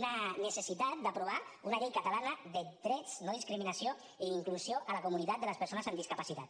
una necessitat d’aprovar una llei catalana de drets no discriminació i inclusió a la comunitat de les persones amb discapacitat